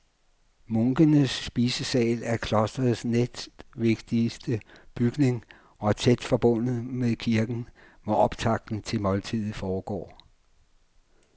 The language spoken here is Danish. Munkenes spisesal er klostrets næstvigtigste bygning og tæt forbundet med kirken, hvor optakten til måltidet foregår.